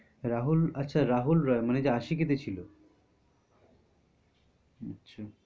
রাহুল আচ্ছা রাহুল রয় মানে আশিকি তে ছিল? আচ্ছা